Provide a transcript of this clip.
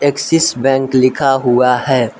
Axis bank लिखा हुआ है।